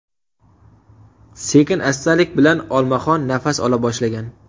Sekin-astalik bilan olmaxon nafas ola boshlagan.